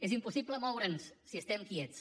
és impossible moure’ns si estem quiets